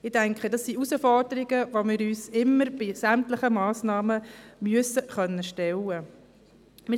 Ich denke, dies sind Herausforderungen, denen wir uns bei sämtlichen Massnahmen immer stellen müssen.